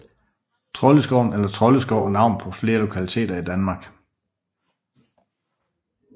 Troldeskoven eller Troldeskov er navnet på flere lokaliteter i Danmark